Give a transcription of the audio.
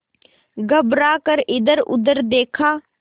घबरा कर इधरउधर देखा